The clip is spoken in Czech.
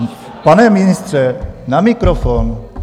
Pane ministře, na mikrofon!